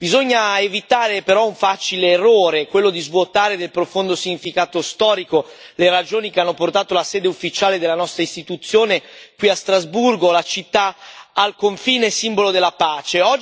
Bisogna evitare, però, un facile errore quello di svuotare del profondo significato storico le ragioni che hanno portato la sede ufficiale della nostra Istituzione qui a Strasburgo, la città al confine, simbolo della pace.